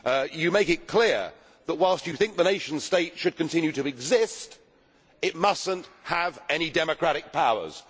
You make it clear that whilst you think the nation state should continue to exist, it must not have any democratic powers.